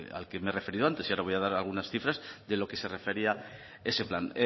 al que me he referido antes y ahora voy a dar algunas cifras de lo que se refería ese plan